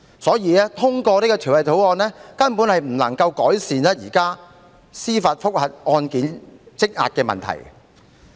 因此，通過這項《條例草案》根本無法改善現時司法覆核案件積壓的問題。